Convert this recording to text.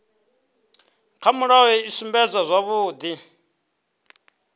kha mulayo i sumbedza zwavhudi